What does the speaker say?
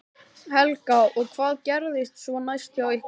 Helga: Og hvað gerist svo næst hjá ykkur?